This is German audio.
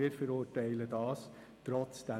Wir verurteilen das trotzdem.